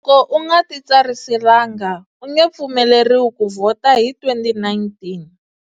Loko u nga titsariselanga, u nge pfumeleriwi ku vhota hi 2019.